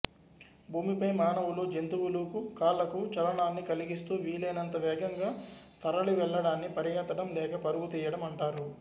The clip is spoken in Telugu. భూమిపై మానవులు జంతువులు కాళ్ళకు చలనాన్ని కలిగిస్తూ వీలైనంత వేగంగా తరలి వెళ్లడాన్ని పరిగెత్తడం లేక పరుగు తీయడం అంటారు